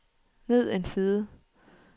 ned en side